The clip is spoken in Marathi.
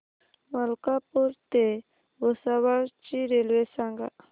मलकापूर ते भुसावळ ची रेल्वे सांगा